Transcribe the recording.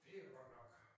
Det godt nok